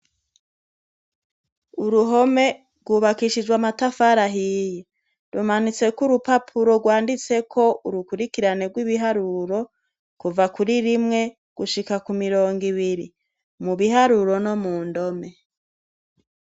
Uruhome rwubakishijwe amatafari ahiye. Rumanitseko urupapuro rwanditseko urukurikirane rw'ibiharuro kuva kuri rimwe gushika ku mirongo ibiri mu biharuro no mu ndome.